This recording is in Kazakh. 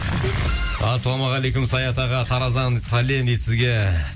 ассалаумағалейкум саят аға тараздан сәлем дейді сізге